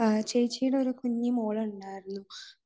ചേച്ചിയുടെ ഒരു കുഞ്ഞു മോൾ ഉണ്ടായിരുന്നു